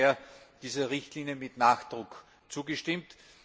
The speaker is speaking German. Ich habe daher dieser Richtlinie mit Nachdruck zugestimmt.